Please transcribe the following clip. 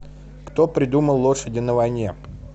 кто придумал лошади на войне